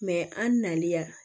an nalen ya